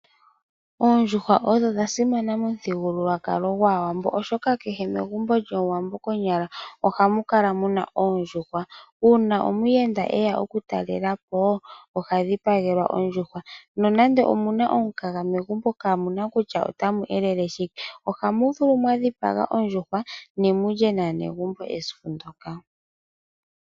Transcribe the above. Oondjuhwa odho dhasimana momuthigululwakalo gwaawambo oshoka kehe megumbo lyaawambo konyala ohamukala muna oondjuhwa uuna omuyenda eya oku talelapo ohadhipagelwa ondjuhwa nonando omuna omukaga megumbo kaamuna kutya itamu li shike ohamuvulu mwadhipaga oondjuhwa nemulye naanegumbo esiku ndyoka.